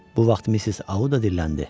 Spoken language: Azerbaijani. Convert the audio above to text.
Bu vaxt Missis Auda dilləndi.